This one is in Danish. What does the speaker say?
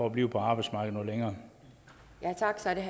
at blive på arbejdsmarkedet noget